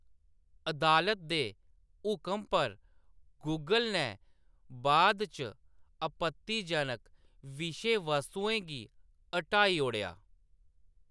अदालत दे हुकम पर गूगल नै बाद इच आपत्तिजनक विशे-वस्तुएं गी हटाई ओड़ेआ।